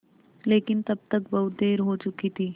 लेकिन तब तक बहुत देर हो चुकी थी